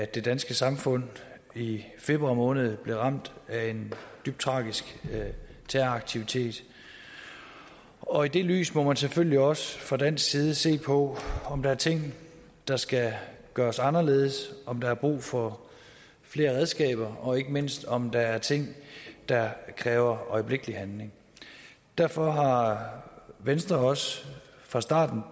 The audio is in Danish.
det danske samfund i februar måned blev ramt af en dybt tragisk terroraktivitet og i det lys må man selvfølgelig også fra dansk side se på om der er ting der skal gøres anderledes om der er brug for flere redskaber og ikke mindst om der er ting der kræver øjeblikkelig handling derfor har venstre også fra starten